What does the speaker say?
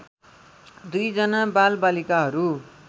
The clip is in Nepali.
२ जना बालबालिकाहरू